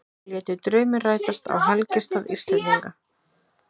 Létu drauminn rætast á helgistað Íslendinga